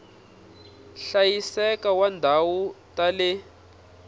hlayiseka wa tindhawu ta le